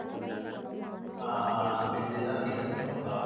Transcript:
ஆஹ் இப்ப இந்த இதுதான் season சப்போட்டா